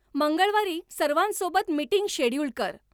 मंगळवारी सर्वांसोबत meeting schedule कर